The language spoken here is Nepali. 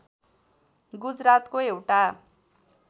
गुजरातको एउटा